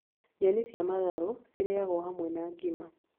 Nyeni cia matharũ cirĩagwo hamwe na ngima